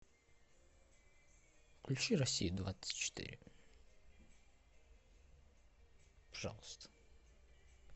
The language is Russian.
включи россия двадцать четыре пожалуйста